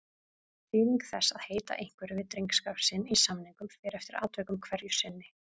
Þýðing þess að heita einhverju við drengskap sinn í samningum fer eftir atvikum hverju sinni.